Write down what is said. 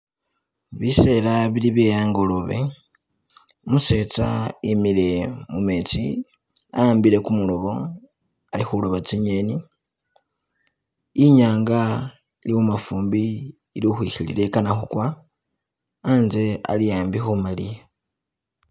Bisela bili bye a'ngolobe umusetsa wimile mumetsi a'wambile kumulobo ali khuloba tsi'ngeni, inyanga ili mumafumbi ili ukhukhwikhilila ikana khukwa anze ali ambi khu maliya.